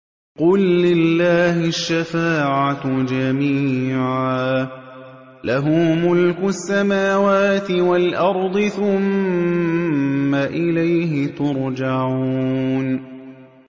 قُل لِّلَّهِ الشَّفَاعَةُ جَمِيعًا ۖ لَّهُ مُلْكُ السَّمَاوَاتِ وَالْأَرْضِ ۖ ثُمَّ إِلَيْهِ تُرْجَعُونَ